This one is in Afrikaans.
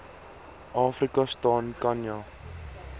afrika staan khanya